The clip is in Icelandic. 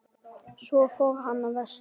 Svo fór hann vestur.